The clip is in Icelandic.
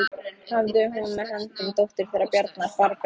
Hafði hún með höndum dóttur þeirra Bjarnar, Barböru.